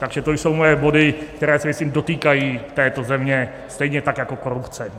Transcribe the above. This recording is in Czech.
Takže to jsou moje body, které se, myslím, dotýkají této země stejně tak jako korupce.